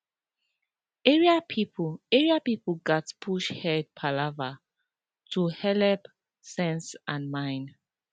area people area people gats push head palava to helep sense and mind